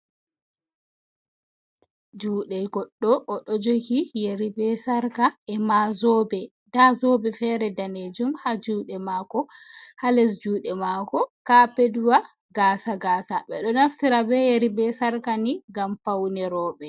Juɗe goɗɗo o ɗo jogi yari be sarka emazobe, nda zobe fere danejum ha juɗe mako, ha les juɗe mako kapetwa gasa gasa, ɓe ɗo naftira be yari be sarka ni ngam paune roɓe.